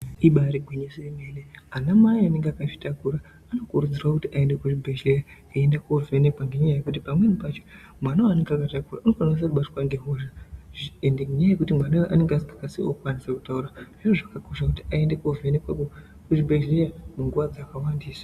Ibari gwinyiso remene ana Mai vanenge vakazvitakura anokuridzirwa kuenda kuzvibhehleya eienda kunovhenhekwa ngenyaya yekuti pamweni pacho mwana wainenge akatakura anokwanisa kubatwa ngehosha ende nenyaya yekuti mwana iyeye anenge asinga kwanisawo kutaura anofanirwa kuenda kuzvibhehleya munguwa dzakawandisa